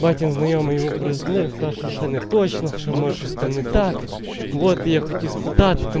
давайте узнаем его проездных кошины точно что может страны так вот ехать испытатель